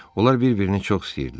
Onlar bir-birini çox istəyirdilər.